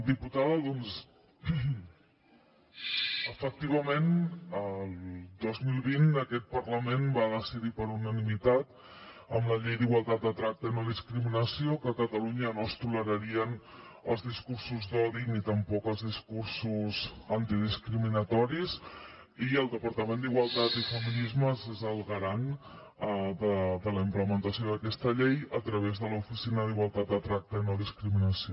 diputada doncs efectivament el dos mil vint aquest parlament va decidir per unanimitat amb la llei d’igualtat de tracte i no discriminació que a catalunya no es tolerarien els discursos d’odi ni tampoc els discursos discriminatoris i el departament d’igualtat i feminismes és el garant de la implementació d’aquesta llei a través de l’oficina d’igualtat de tracte i no discriminació